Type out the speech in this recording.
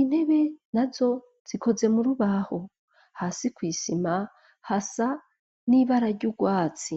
intebe na zo zikoze mu rubaho hasi kw'isima hasa n'ibara ry'urwatsi.